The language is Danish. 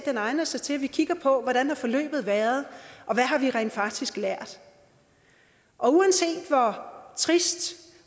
egner sig til at vi kigger på hvordan forløbet har været og hvad vi rent faktisk har lært og uanset hvor trist